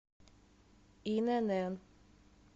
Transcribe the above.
инн